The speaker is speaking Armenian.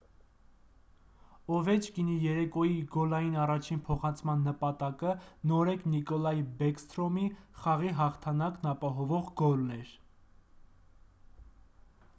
օվեչկինի երեկոյի գոլային առաջին փոխանցման նպատակը նորեկ նիկոլայ բեքսթրոմի խաղի հաղթանակն ապահովող գոլն էր